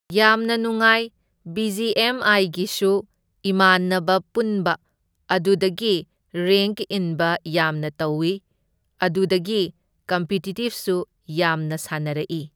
ꯌꯥꯝꯅ ꯅꯨꯉꯥꯏ, B G M ꯑꯥꯏꯒꯤꯁꯨ ꯏꯃꯥꯟꯅꯕ ꯄꯨꯟꯕ ꯑꯗꯨꯗꯒꯤ ꯔꯦꯡꯛ ꯏꯟꯕ ꯌꯥꯝꯅ ꯇꯧꯢ, ꯑꯗꯨꯗꯒꯤ ꯀꯝꯄꯤꯇꯤꯇꯤꯞꯁꯨ ꯌꯥꯝꯅ ꯁꯥꯟꯅꯔꯛꯢ꯫